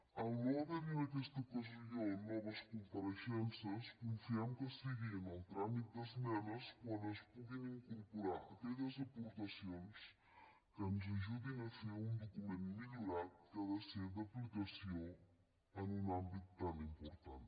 al no haverhi en aquesta ocasió noves compareixences confiem que sigui en el tràmit d’esmenes quan es pugin incorporar aquelles aportacions que ens ajudin a fer un document millorat que ha de ser d’aplicació en un àmbit tan important